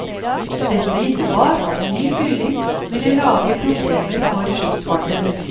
Dette innebar at ny fylling ville lage problemer for skipsfarten.